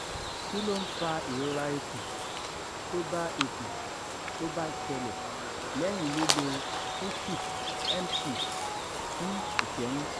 kí ló ń fa ìrora ikun tóba ikun tóba sele leyin lilo khushi mt fún ìṣẹ́yún?